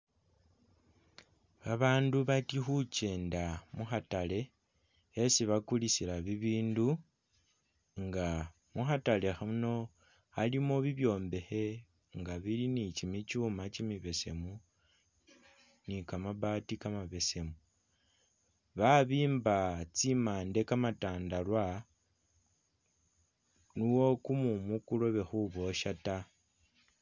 babandu bati hukyenda mu hatale hesi bakulisila bibindu, nga mu hatale hano halimo bibyombehe nga bili ni kimikyuuma kimibesemu ni kamabati kamabesemu, babimba tsimande kamatandarwa nuwo kumumu kulobe huboshya taa